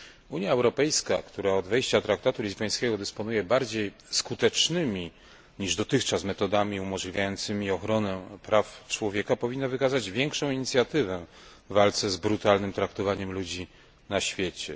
Unia Europejska, która od wejścia traktatu lizbońskiego dysponuje bardziej skutecznymi, niż dotychczas metodami umożliwiającymi ochronę praw człowieka, powinna wykazać większą inicjatywę w walce z brutalnym traktowaniem ludzi na świecie.